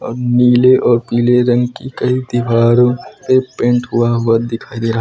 अ नीले और पीले रंग की कई दीवारों पे पेंट हुआ हुआ दिखाई दे रहा --